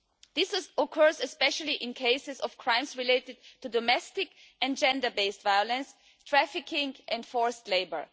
This is, of course, especially in cases of crimes related to domestic and gender based violence, trafficking and forced labour.